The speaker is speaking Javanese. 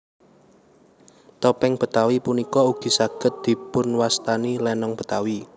Topéng Betawi punika ugi saged dipunwastani lénong Betawi